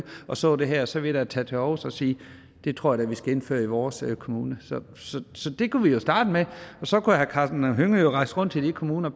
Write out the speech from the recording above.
og så det her så ville jeg da tage til aarhus og sige det tror jeg vi skal indføre i vores kommune så det kunne vi jo starte med og så kunne herre karsten hønge rejse rundt til de kommuner